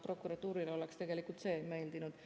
Prokuratuurile oleks tegelikult see meeldinud.